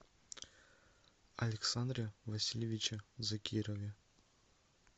александре васильевиче закирове